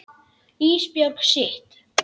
Ísbjörg sitt.